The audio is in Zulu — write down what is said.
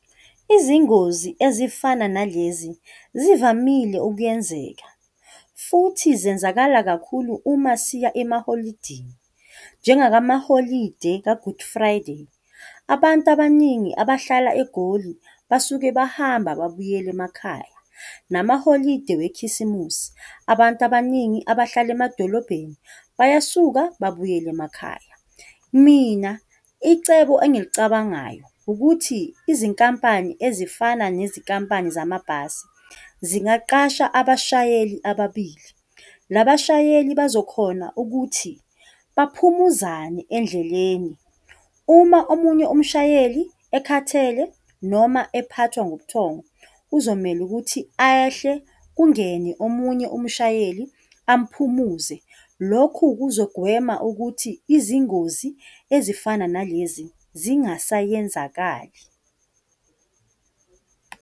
Izingozi ezifana nalezi, zivamile ukuyenzeka, futhi zenzakala kakhulu uma siya emaholidini, njengala maholide ka-Good Friday. Abantu abaningi abahlala eGoli, basuke bahamba babuyela emakhaya, namaholide wekhisimusi, abantu abaningi abahlala emadolobheni, bayasuka babuyele emakhaya. Mina icebo engilicabangayo ukuthi, izinkampani ezifana nezinkampani zamabhasi zingaqasha abashayeli ababili, nabashayeli bazokhona ukuthi baphumuzane endleleni. Uma omunye umshayeli ekhathele noma ephathwa ngubuthongo, kuzomele ukuthi ehle kungene omunye umshayeli amuphumuze. Lokhu kuzogwema ukuthi izingozi ezifana nalezi zingasayenzakali.